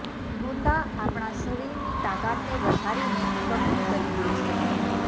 ગુંદા આપણા શરીરની તાકાતને વધારીને બમણી કરી દે છે